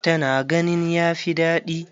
Ta na ganin ya fi daɗi.